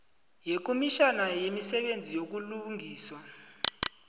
yekomitjhana yemisebenzi yobulungiswa